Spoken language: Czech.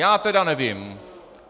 Já tedy nevím.